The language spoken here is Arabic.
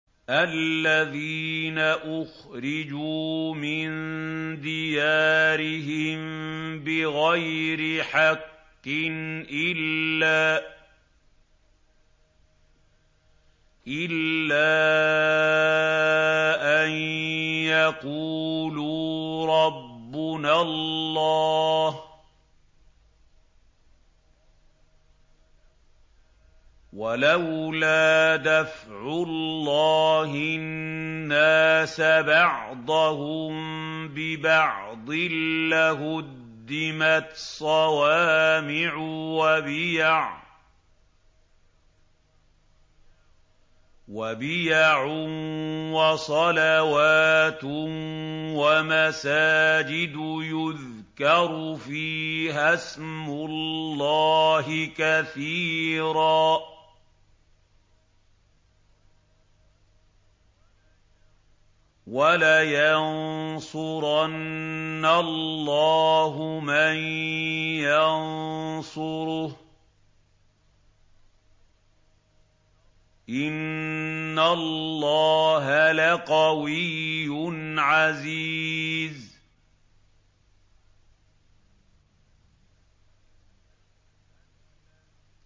الَّذِينَ أُخْرِجُوا مِن دِيَارِهِم بِغَيْرِ حَقٍّ إِلَّا أَن يَقُولُوا رَبُّنَا اللَّهُ ۗ وَلَوْلَا دَفْعُ اللَّهِ النَّاسَ بَعْضَهُم بِبَعْضٍ لَّهُدِّمَتْ صَوَامِعُ وَبِيَعٌ وَصَلَوَاتٌ وَمَسَاجِدُ يُذْكَرُ فِيهَا اسْمُ اللَّهِ كَثِيرًا ۗ وَلَيَنصُرَنَّ اللَّهُ مَن يَنصُرُهُ ۗ إِنَّ اللَّهَ لَقَوِيٌّ عَزِيزٌ